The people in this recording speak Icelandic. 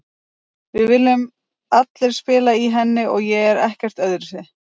Við viljum allir spila í henni og ég er ekkert öðruvísi.